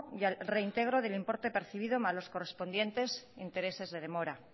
y al reintegro del importe percibido más los correspondientes intereses de demora